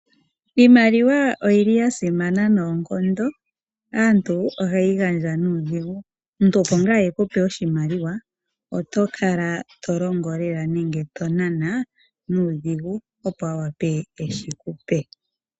Iimaliwa oyili ya simana noonkondo. Aantu ohaye yi gandja nuudhigu, omuntu opo ngaa ekupe oshimaliwa oto kala tolongo lela nenge to nana nuudhigu opo a wape eshi kupe.